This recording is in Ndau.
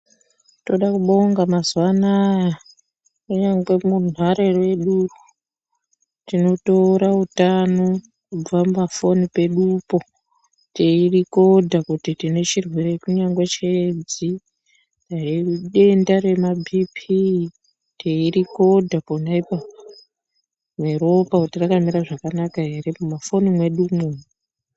Toda kubonga mazuwa anaya kunyange runhare mwedu tinotora utano kubva mumafoni pedupo teirikodha kuti tine chirwere kunyangwe cheedzo dai idenda rema bhiipii teirikodha ponapo neropa kuti rakamira zvakanaka ere mumafoni mwedumwo.